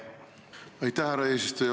Aitäh, härra eesistuja!